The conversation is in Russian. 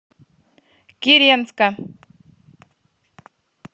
киренска